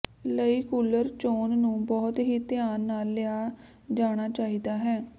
ਲਈ ਕੂਲਰ ਚੋਣ ਨੂੰ ਬਹੁਤ ਹੀ ਧਿਆਨ ਨਾਲ ਲਿਆ ਜਾਣਾ ਚਾਹੀਦਾ ਹੈ